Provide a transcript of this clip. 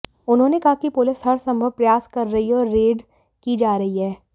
उन्होंने कहा कि पुलिस हरसंभव प्रयास कर रही है और रेड की जा रही है